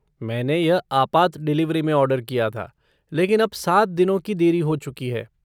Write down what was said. मैंने यह आपात डिलिवरी में ऑर्डर किया था लेकिन अब सात दिनों की देरी हो चुकी है।